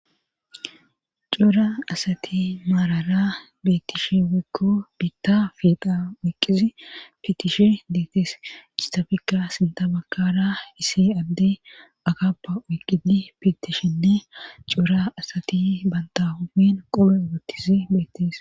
Coora asati maarara beettish weekko biitta fidha woqqizi fitishi deetes istafikka sinta bakara isi adde agappa oyqqizi fitishinne cuura asati banta homin qome ugottizi beettes.